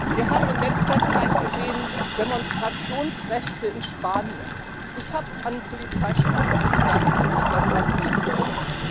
Wir haben in letzter Zeit gesehen Demonstrationsrechte in Spanien ich habe an einen Polizeistaat gedacht, als ich darüber gelesen habe.